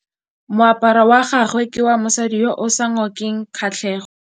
Moaparô wa gagwe ke wa mosadi yo o sa ngôkeng kgatlhegô.